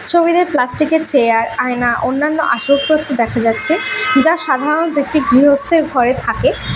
ছবিতে প্লাস্টিক -এর চেয়ার আয়না অন্যান্য আসবাবপত্র দেখা যাচ্ছে যা সাধারণত একটি গৃহস্থের ঘরে থাকে।